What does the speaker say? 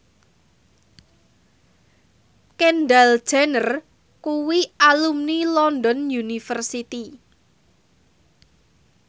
Kendall Jenner kuwi alumni London University